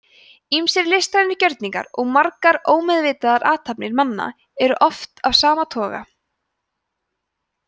ýmsir listrænir gjörningar og margar ómeðvitaðar athafnir manna eru af sama toga